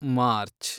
March